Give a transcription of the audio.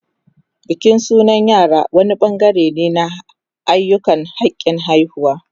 Bikin sunan yara wani bangare ne na ayyukan hakin haihuwa